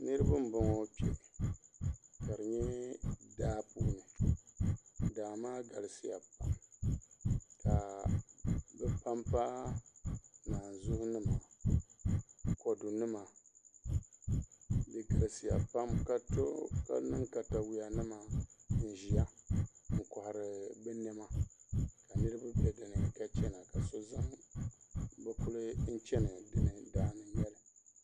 Niraba n boŋo kpɛ ka di nyɛ daapuuni daa maa galisiya pam ka bi panpa naanzuhi nima kodu nima di galisiya pam ka niŋ katawiya nima n ʒiya n kohari bi niɛma ka niraba bɛ dinni ka chɛna ka so zaŋ bi kuli chɛni gindi daa ni n bala